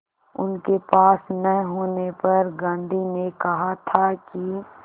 उनके पास न होने पर गांधी ने कहा था कि